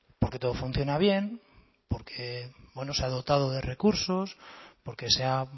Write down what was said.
porque todo funciona bien porque se ha dotado de recursos porque se ha